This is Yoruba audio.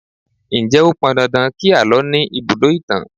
Ǹjẹ́ ó pọn dandan kí àlọ́ ní ibùdó ìtàn?